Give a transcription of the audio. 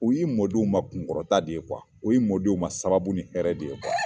U y'i mɔdenw ma kunkɔrɔta de ye o y'i mɔdenw ma sababu ni hɛrɛ de ye